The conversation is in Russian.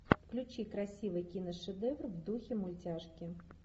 включи красивый киношедевр в духе мультяшки